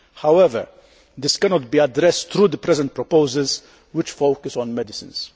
However, this cannot be addressed through the present proposals, which focus on medicines.